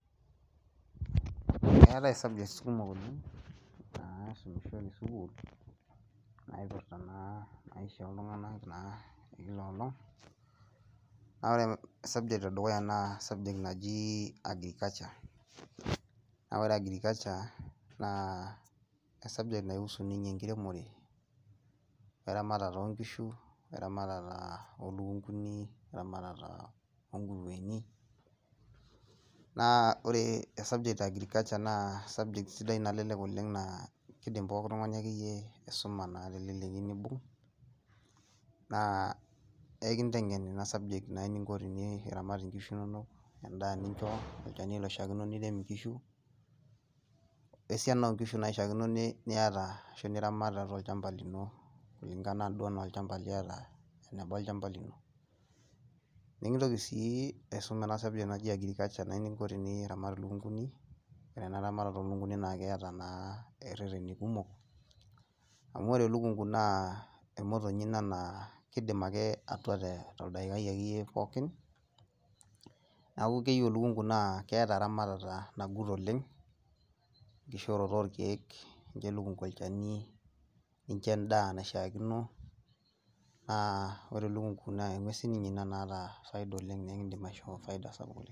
Keetae CS[subjects]CS kumok oleng naisumishoi te CS[school]CS naa ore CS[subjects]CS ee dukuya naa CS[Agriculture subjects]CS naa ore ina naa CS[subjects]CS nahusu enkiremore oo eramatare oo nkishu oo eramatare oo lukunkuni naa ore CS[Agriculture subjects]CS entoki sidai nalelek oleng' naa kidim likae tung'ani aisuma te leleki naa neibung' naa ekinteng'en eninko peyiee iramat naa inkishu inonok endaa nincho, olchani loishaakinore nirem inkishu wesiana oo nkishu naishaakino niyata arashu niramat tiatua olchamba lino kulingana anaa olchamba liata nekintoki sii aisum eninko pee iramat ilukunguni naa keeta naa irereni kumok amu ore elukunku naa emotonyi ina naa keidim atua toldaikai akeyie pooki neeku keyieu elukunku naa keeta eramatata naagut oleng' enkishooroto oo irkeek, olchani nincho endaa nashaakino ore elukungu naa engwes siinye naata faida naa ekiidim aishoo faida sapuk oleng'.